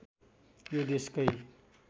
यो देशकै